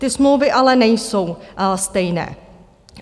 Ty smlouvy ale nejsou stejné.